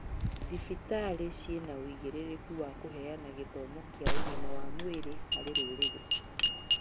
Thibitarĩ ciĩna ũigĩrĩrĩku wa kũheana gĩthomo kĩa ũgima wa mwĩrĩ harĩ rũrĩrĩ